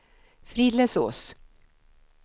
Frillesås